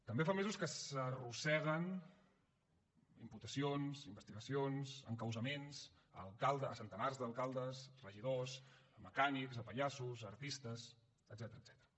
també fa mesos que s’arrosseguen imputacions investigacions encausaments a centenars d’alcaldes regidors a mecànics a pallassos a artistes etcètera